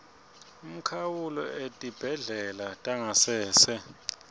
umkhawulo etibhedlela tangasese